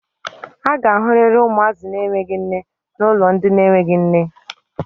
A ga-ahụrịrị ụmụazị na-enweghi nne na ụlọ ndị na-enweghi nne.